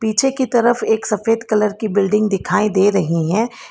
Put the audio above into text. पीछे की तरफ एक सफेद कलर की बिल्डिंग दिखाई दे रही है।